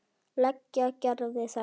Leigja Gerði þetta.